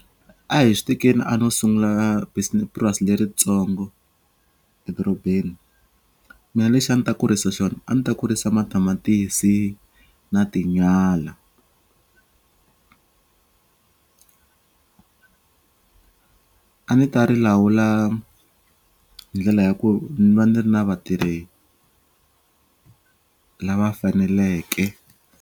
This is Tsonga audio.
A hi swi tekeni a no sungula purasi leritsongo edorobeni mina lexi a ni ta kurisa xona a ni ta kurisa matamatisi na tinyala a ni ta ri lawula hi ndlela ya ku ni va ni ri na vatirhi lava faneleke.